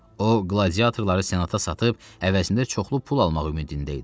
O qladiyatorları senata satıb əvəzində çoxlu pul almaq ümidində idi.